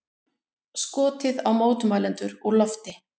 Skotið á mótmælendur úr lofti